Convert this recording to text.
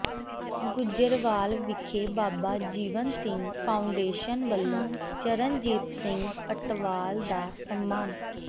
ਗੁੱਜਰਵਾਲ ਵਿਖੇ ਬਾਬਾ ਜੀਵਨ ਸਿੰਘ ਫਾਊਾਡੇਸ਼ਨ ਵਲੋਂ ਚਰਨਜੀਤ ਸਿੰਘ ਅਟਵਾਲ ਦਾ ਸਨਮਾਨ